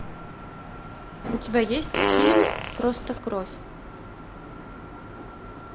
у тебя есть фильм просто кровь